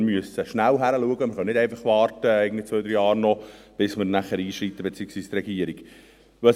Wir müssen schnell hinschauen und können nicht einfach noch zwei bis drei Jahre warten, bis wir – beziehungsweise die Regierung – einschreiten.